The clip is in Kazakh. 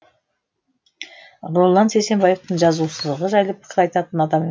роллан сейсенбаевтың жазушылығы жайлы пікір айтатын адам